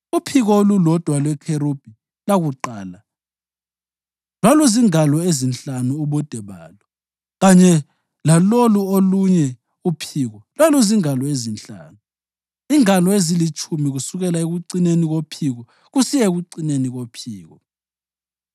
Uphiko olulodwa lwekherubhi lakuqala lwaluzingalo ezinhlanu ubude balo, kanye lalolu olunye uphiko lwaluzingalo ezinhlanu, ingalo ezilitshumi kusukela ekucineni kophiko kusiya ekucineni kophiko.